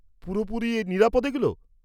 পুরোপুরি নিরাপদ এগুলো?